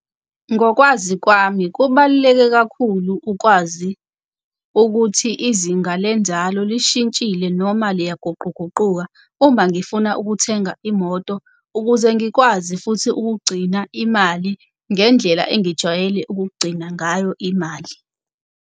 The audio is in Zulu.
Ngokwazi kwami kubaluleke kakhulu ukwazi ukuthi izinga lenzalo lishintshile noma liyaguquguquka uma ngifuna ukuthenga imoto, ukuze ngikwazi futhi ukugcina imali ngendlela engijwayele ukugcina ngayo imali.